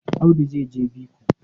Audu zai je biko.